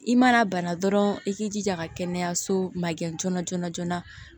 I mana bana dɔrɔn i k'i jija ka kɛnɛyaso magɛn joona joona joona